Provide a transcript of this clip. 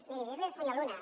miri dir li al senyor luna